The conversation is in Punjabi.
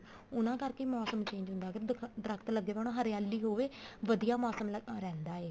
ਉਹਨਾ ਕਰਕੇ ਮੋਸਮ change ਹੁੰਦਾ ਅਗਰ ਦਰਖਤ ਲੱਗੇ ਹੋਣ ਹਰਿਆਲੀ ਹੋਵੇ ਵਧੀਆ ਮੋਸਮ ਰਹਿੰਦਾ ਹੈ